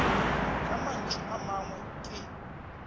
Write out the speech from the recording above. ka mantšu a mangwe ke